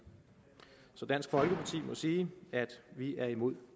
så dansk folkeparti må sige at vi er imod